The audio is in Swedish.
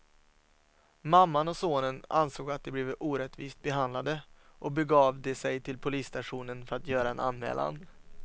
Mamman och sonen ansåg att de blivit orättvist behandlade och begav de sig till polisstationen för att göra en anmälan.